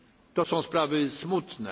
innych spraw. To są